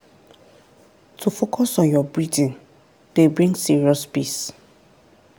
to focus on your breathing dey bring serious peace.